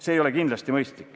See ei ole kindlasti mõistlik.